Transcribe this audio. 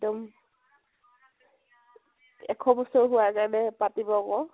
এক্দম এশ বছৰ হোৱাৰ কাৰণে পাতিব আকৌ।